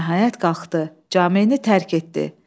Nəhayət qalxdı, camieni tərk etdi.